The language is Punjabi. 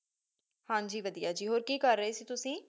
ਹਨ ਜੀ ਵਧੀਆ ਜੀ ਹੋਰ ਕੀ ਕਰ ਰੀ ਸੀ ਤੁਸੀ